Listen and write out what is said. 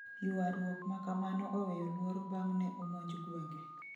Yuarruok makamano oweyo luoro bang' ne omonj gwenge